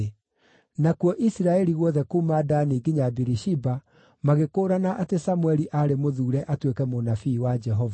Nakuo Isiraeli guothe kuuma Dani nginya Birishiba magĩkũũrana atĩ Samũeli aarĩ mũthuure atuĩke mũnabii wa Jehova.